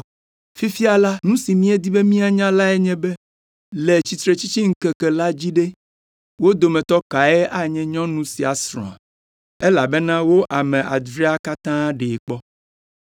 Fifia la, nu si míedi be míanya lae nye be, le tsitretsitsiŋkeke la dzi ɖe, wo dometɔ kae anye nyɔnu sia srɔ̃a, elabena wo ame adrea katã ɖee kpɔ.”